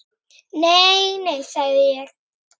Nei, nei, sagði ég.